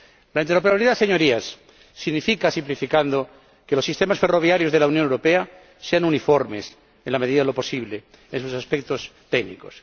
La interoperabilidad, señorías, significa, simplificando, que los sistemas ferroviarios de la Unión Europea sean uniformes, en la medida de lo posible, en sus aspectos técnicos.